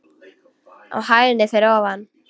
Á hæðinni fyrir ofan.